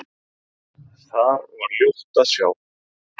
Þar var ljótt að sjá.